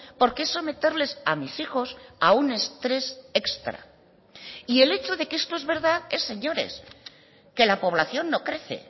porque es someterles a mis hijos a un estrés extra y el hecho de que esto es verdad es señores que la población no crece